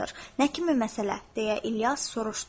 “Nə kimi məsələ?” deyə İlyas soruşdu.